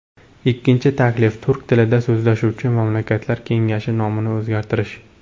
Ikkinchi taklif Turk tilida so‘zlashuvchi mamlakatlar kengashi nomini o‘zgartirish.